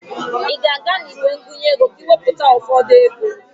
Ị ga-aga n'igwe ngụnye ego ka ị wepụta ụfọdụ ego?